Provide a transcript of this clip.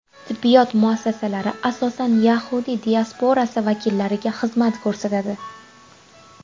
Tibbiyot muassasalari asosan yahudiy diasporasi vakillariga xizmat ko‘rsatadi.